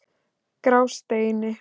Grásteini